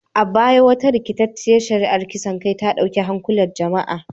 A baya, wata rikitacciyar shari’ar kisan kai ta dauki hankulan jama’a